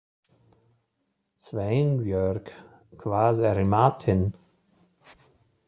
Sveinbjörg, hvað er í matinn?